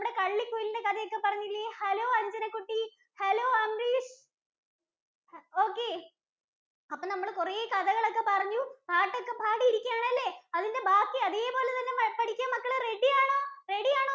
കള്ളി കുയിലിന്‍റെ കഥയൊക്കെ പറഞ്ഞില്ലേ? hello അഞ്ജന കുട്ടീ hello അംരീഷ് Okay. അപ്പൊ നമ്മള് കുറെ കഥകൾ ഒക്കെ പറഞ്ഞു. പാട്ടൊക്കെ പാടി ഇരിക്കുയാണ് അല്ലെ? അതിന്‍റെ ബാക്കി അതേപോലെ തന്നെ പഠിക്കാൻ മക്കൾ ready ആണോ ready ആണോ